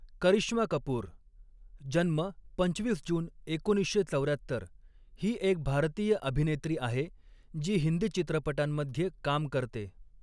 करिश्मा कपूर जन्म पंचवीस जून एकोणीसशे चौऱ्यात्तर ही एक भारतीय अभिनेत्री आहे, जी हिंदी चित्रपटांमध्ये काम करते.